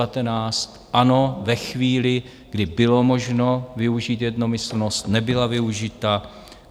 Ano, ve chvíli, kdy bylo možno využít jednomyslnost, nebyla využita.